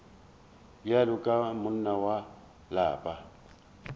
bjalo ka monna wa lapa